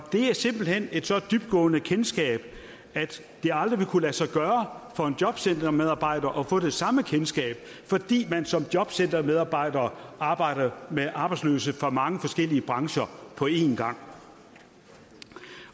er simpelt hen et så dybtgående kendskab at det aldrig vil kunne lade sig gøre for en jobcentermedarbejder at få det samme kendskab fordi man som jobcentermedarbejder arbejder med arbejdsløse fra mange forskellige brancher på en gang